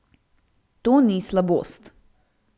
To ni slabost.